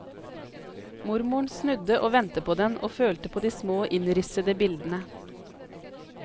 Mormoren snudde og vendte på den og følte på de små innrissede bildene.